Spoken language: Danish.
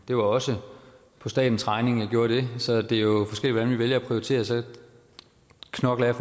det var også på statens regning jeg gjorde det så det er jo forskelligt hvordan vi vælger at prioritere og så knokler jeg